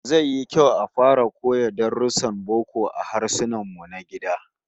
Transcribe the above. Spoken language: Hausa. Zai yi kyau a fara koya darussan boko a Harsunanmu na gida